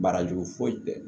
Barajuru foyi tɛ